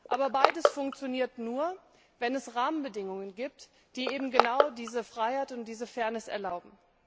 Aber beides funktioniert nur, wenn es Rahmenbedingungen gibt, die eben genau diese Freiheit und diese Fairness erlauben.